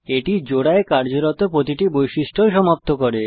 এটি জোড়ায় কার্যরত প্রতিটি বৈশিষ্ট্য ও সমাপ্ত করে